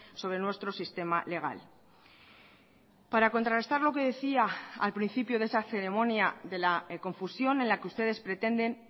sobre nuestro sistema legal para contrarrestar lo que decía al principio de esa ceremonia de la confusión en la que ustedes pretenden